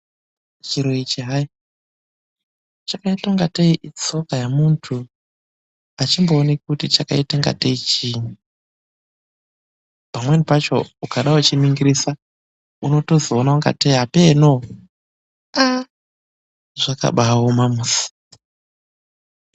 Chiro ichi hayi, chakaita ungatei itsoka yemunhu. Achimbooneki kuti chakaita ingatei chiinyi? Pamweni pacho ukada kuchiningirisa, unotozoona ungatei apeeno. Ahh! Zvakabaaoma musi.